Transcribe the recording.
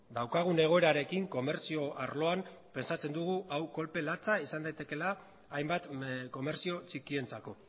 daukagun egoerarekin komertzio arloan hau kolpe latza izan daitekeela hainbat komertzio txikientzako